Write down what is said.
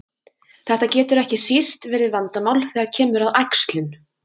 Þetta getur ekki síst verið vandamál þegar kemur að æxlun.